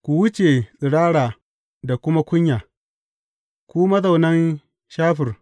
Ku wuce tsirara da kuma kunya, ku mazaunan Shafir.